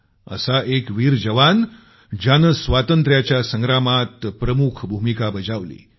एक असा वीर जवान ज्यानं स्वातंत्र्याच्या संग्रामात प्रमुख भूमिका बजावली